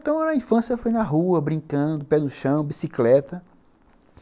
Então, a infância foi na rua, brincando, pé no chão, bicicleta.